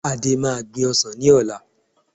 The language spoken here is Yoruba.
Ade máa gbìn ọsàn ní ọ̀la